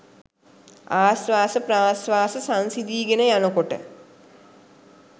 ආශ්වාස ප්‍රශ්වාස සංසිඳීගෙන යනකොට